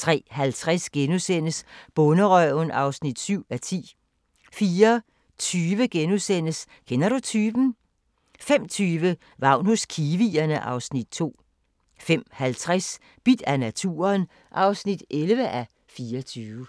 03:50: Bonderøven (7:10)* 04:20: Kender du typen? * 05:20: Vagn hos kiwierne (Afs. 2) 05:50: Bidt af naturen (11:24)